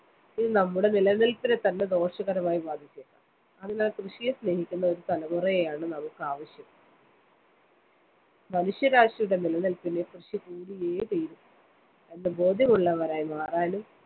ഇത് നമ്മുടെ നിലനില്‍പ്പിനെത്തന്നെ ദോഷകരമായി ബാധിച്ചേക്കാം. അതിനാല്‍ കൃഷിയെ സ്‌നേഹിക്കുന്ന ഒരു തലമുറയെയാണ് നമുക്ക് ആവശ്യം. മനുഷ്യരാശിയുടെ നിലനില്‍പ്പിന് കൃഷി കൂടിയേ തീരൂ എന്ന് ബോധ്യമുള്ളവരായി മാറാനും